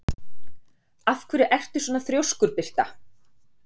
Af hverju ertu svona þrjóskur, Birta?